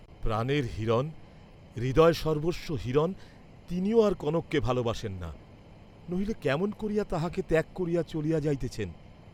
প্রাণের হিরণ, হৃদয়সর্বস্ব হিরণ তিনিও আর কনককে ভালবাসেন না, নহিলে কেমন করিয়া তাহাকে ত্যাগ করিয়া চলিয়া যাইতেছেন!